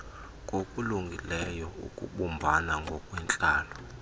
kokulungileyo ukubumbana ngokwentlalo